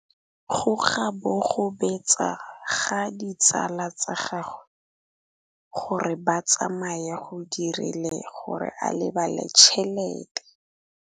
Go gobagobetsa ga ditsala tsa gagwe, gore ba tsamaye go dirile gore a lebale tšhelete.